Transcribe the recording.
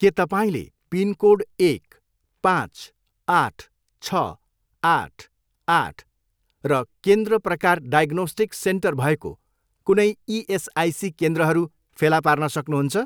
के तपाईँँले पिनकोड एक, पाँच, आठ, छ, आठ, आठ र केन्द्र प्रकार डायग्नोस्टिक सेन्टर भएको कुनै इएसआइसी केन्द्रहरू फेला पार्न सक्नुहुन्छ?